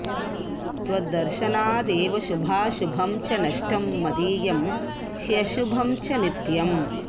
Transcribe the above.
त्वद्दर्शनाद्देव शुभाशुभं च नष्टं मदीयं ह्यशुभं च नित्यम्